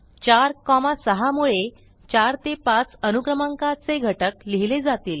4 6 मुळे 4 ते 5 अनुक्रमांकाचे घटक लिहिले जातील